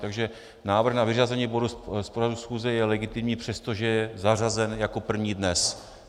Takže návrh na vyřazení bodu z pořadu schůze je legitimní, přestože je zařazen jako první dnes.